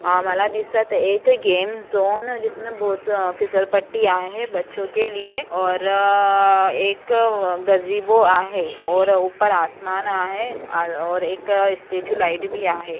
एक game zone जिसमें बहुत से फिसल पट्टी आहे बच्चों के लिए और एक आहे और ऊपर आसमान आहे और स्टैचू लाइट भी आहे.